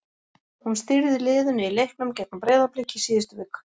Hún stýrði liðinu í leiknum gegn Breiðablik í síðustu viku.